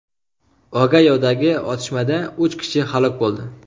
Ogayodagi otishmada uch kishi halok bo‘ldi.